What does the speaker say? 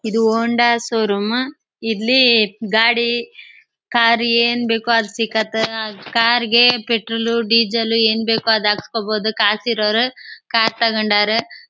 ಇದು Honda showroom ಇಲ್ಲಿ ಗಾಡಿ ಕಾರ್ ಏನ್ ಬೇಕೋ ಅದ್ ಸಿಕ್ಕತ್ತಾ ಕಾರ್ಗೆ ಪೆಟ್ರೋಲು ಡಿಸೇಲ್ ಏನ್ ಬೇಕೋ ಅದ್ ಹಖ್ಸ್ಕೋಬೋದು. ಕಾಸ್ ಇರವರು ಕಾರ್ ತೊಗೊಂಡವರು .